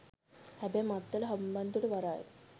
හැබැයි මත්තල හම්බන්තොට වරාය